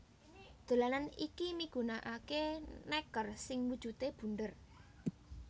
Dolanan iki migunakaké nèker sing wujudé bunder